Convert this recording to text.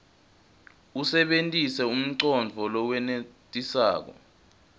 usebentise umcondvo lowenetisako